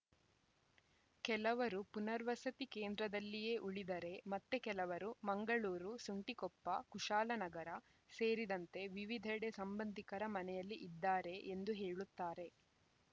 ಕೆಲವರು ಪುನರ್ವಸತಿ ಕೇಂದ್ರದಲ್ಲಿಯೇ ಉಳಿದರೆ ಮತ್ತೆ ಕೆಲವರು ಮಂಗಳೂರು ಸುಂಟಿಕೊಪ್ಪ ಕುಶಾಲನಗರ ಸೇರಿದಂತೆ ವಿವಿಧೆಡೆ ಸಂಬಂಧಿಕರ ಮನೆಯಲ್ಲಿ ಇದ್ದಾರೆ ಎಂದು ಹೇಳುತ್ತಾರೆ